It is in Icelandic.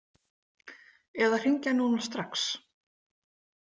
Eða hringja núna strax.